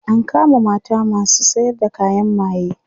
an kama masu sayar da kayan maye